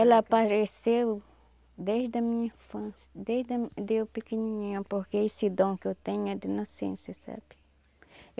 Ela apareceu desde a minha infância, desde eu pequenininha, porque esse dom que eu tenho é de nascença, sabe?